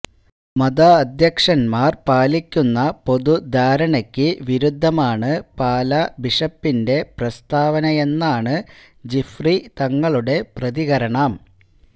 മതാധ്യക്ഷന്മാര് പാലിക്കുന്ന പൊതുധാരണക്ക് വിരുദ്ധമാണ് പാലാ ബിഷപ്പിന്റെ പ്രസ്ഥാവനയെന്നാണ് ജിഫ്രി തങ്ങളുടെ പ്രതികരണം